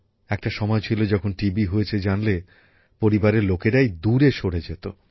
একটা সময় ছিল যখন টিবি হয়েছে জানলে পরিবারের লোকেরাই দূরে সরে যেত